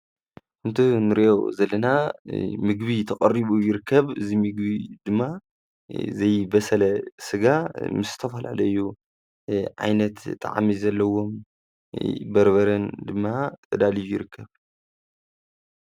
እቲ ንሪኦ ዘለና ምግቢ ተቐሪቡ ይርከብ፡፡ እዚ ምግቢ ድማ ዘይበሰለ ስጋ ምስ ተፈላለዩ ዓይነት ጣዕሚ ዘለዎም በርበረን ድማ ተዳልዩ ይርከብ፡፡